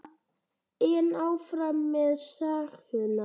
En áfram með söguna.